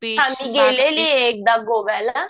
हां मी गेलेली ये एकदा गोव्याला